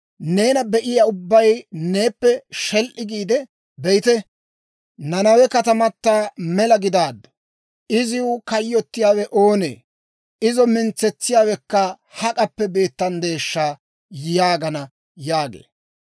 Neena be'iyaa ubbay neeppe shel"i giide, ‹Be'ite, Nanawe katamata mela gidaaddu. Iziw kayyottiyaawe oonee? Izo mintsetsiyaawekka hak'appe beettanddeeshsha!› yaagana» yaagee.